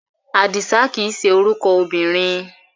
Àdìsá kìí ṣe orúkọ obìnrin.